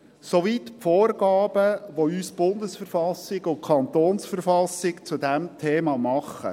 Soweit die Vorgaben, die uns BV und KV zu diesem Thema machen.